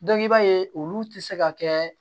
i b'a ye olu tɛ se ka kɛ